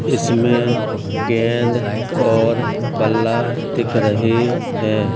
इसमें गेंद और बल्ला दिख रहे हैं।